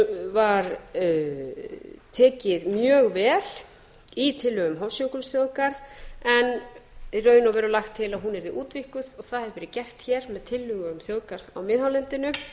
var tekið mjög vel í tillögum hofsjökulsþjóðgarðs en í raun og veru lagt til að hún yrði útvíkkuð og það hefur verið gert hér með tillögum þjóðgarðs á miðhálendinu